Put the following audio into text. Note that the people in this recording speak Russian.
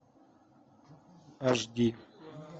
аш ди